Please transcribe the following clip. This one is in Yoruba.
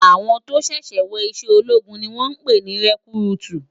Áwòn tó ṣèṣè wò iṣè ólógún ni wòn pè ni rekúrútú